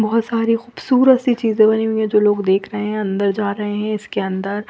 बहोत सारे खूबसूरत सी चीज़े बनी हुई है जो लोग देख रहे है अंदर जा रहे है इसके अंदर--